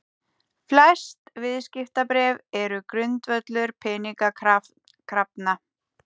Flest viðskiptabréf eru grundvöllur peningakrafna.